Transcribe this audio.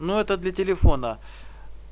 но это для телефона